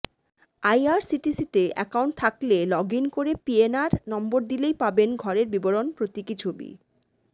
আইআরসিটিসিতে account থাকলে login করে PNR number দিলেই পাবেন ঘরের বিবরণ প্রতীকী ছবি